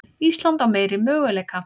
Ísland á meiri möguleika